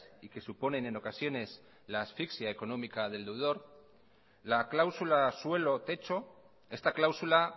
y que suponen en ocasiones la asfixia económica del deudor la cláusula suelo techo esta cláusula